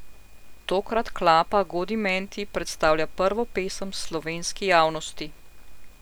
Tokrat Klapa Godimenti predstavlja prvo pesem slovenski javnosti.